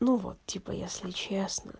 ну вот типо если честно